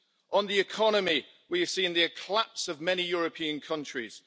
On the economy, we have seen the collapse of many European countries.